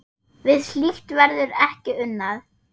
Við slíkt verður ekki unað.